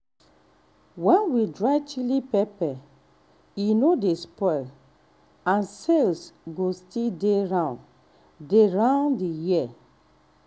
when we dry chilli pepper e no dey spoil and sales go still dey round dey round the year.